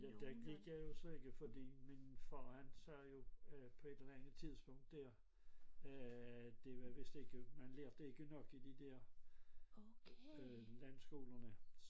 Der gik jeg jo så ikke fordi min far han sagde jo på et eller andet tidspunkt der øh det var vist ikke man lærte ikke nok i de der øh landskolerne